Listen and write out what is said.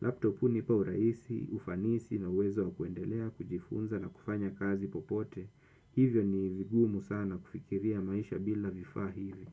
laptop hunipa urahisi, ufanisi na uwezo wa kuendelea, kujifunza na kufanya kazi popote. Hivyo ni vigumu sana kufikiria maisha bila vifaa hivi.